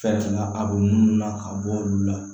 Fɛn la a b'olu la ka bɔ olu la